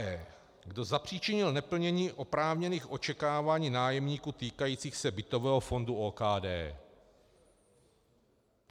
E. Kdo zapříčinil neplnění oprávněných očekávání nájemníků týkajících se bytového fondu OKD.